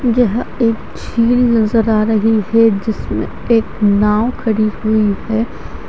यह एक झील नज़र आ रही है जिसमे एक नाव खड़ी हुई है ।